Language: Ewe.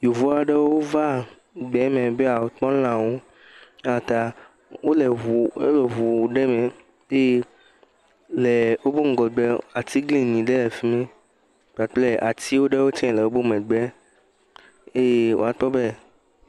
yovuaɖewo va gbɛmɛ be yɔ kpɔ lãwo yata wolɛ ʋu aɖɛ mɛ eye lɛ wobɛ ŋgɔgbɛ la atiglinyi ɖe lɛ fimi kpakple tiwo ɖewo tsɛ le wobe megbe eye woakpɔ bɛ